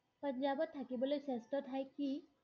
পঞ্জাৱত থাকিবলৈ শ্ৰেষ্ঠ ঠাই কি?